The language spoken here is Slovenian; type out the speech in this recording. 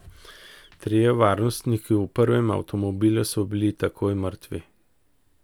Trije varnostniki v prvem avtomobilu so bili takoj mrtvi.